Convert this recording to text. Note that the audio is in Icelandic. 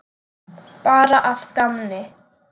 Bara að gamni.